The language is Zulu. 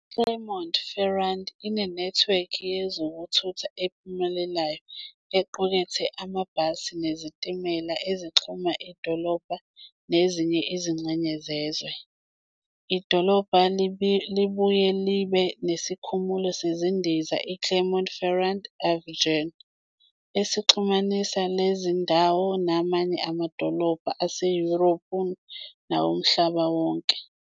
IClermont-Ferrand inenethiwekhi yezokuthutha ephumelelayo equkethe amabhasi nezitimela ezixhuma idolobha nezinye izingxenye zezwe. Idolobha libuye libe nesikhumulo sezindiza iClermont-Ferrand Auvergne, esixhumanisa le ndawo namanye amadolobha aseYurophu nawomhlaba wonke.